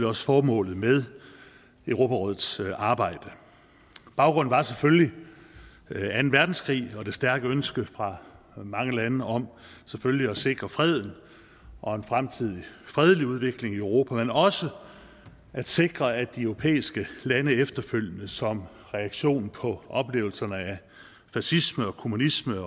også formålet med europarådets arbejde baggrunden var selvfølgelig anden verdenskrig og det stærke ønske fra mange lande om selvfølgelig at sikre freden og en fremtidig fredelig udvikling i europa men også at sikre at de europæiske lande efterfølgende som reaktion på oplevelserne af fascisme og kommunisme